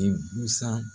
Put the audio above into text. I busan